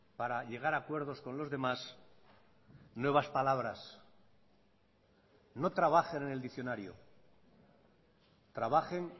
para llegar a acuerdos con los demás nuevas palabras no trabajen en el diccionario trabajen